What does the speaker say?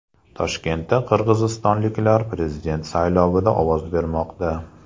Toshkentda qirg‘izistonliklar prezident saylovida ovoz bermoqda.